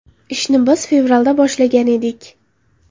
Ishni biz fevralda boshlagan edik.